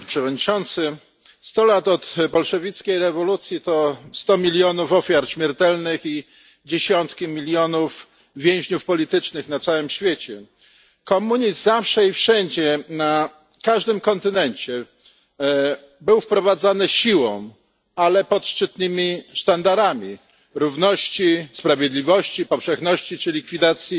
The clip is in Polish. Panie Przewodniczący! Sto lat od bolszewickiej rewolucji to sto milionów ofiar śmiertelnych i dziesiątki milionów więźniów politycznych na całym świecie. Komunizm zawsze i wszędzie, na każdym kontynencie był wprowadzany siłą, ale pod szczytnymi sztandarami równości, sprawiedliwości, powszechności czy likwidacji